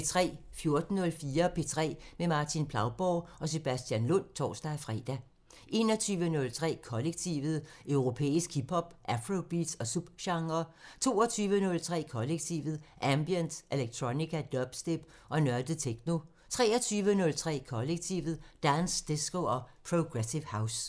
14:04: P3 med Martin Plauborg og Sebastian Lund (tor-fre) 21:03: Kollektivet: Europæisk hip hop, afrobeats og subgenrer 22:03: Kollektivet: Ambient, electronica, dubstep og nørdet techno 23:03: Kollektivet: Dance, disco og progressive house